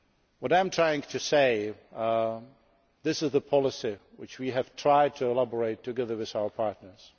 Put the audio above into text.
What I am trying to say is that this is the policy which we have tried to elaborate together with our partners.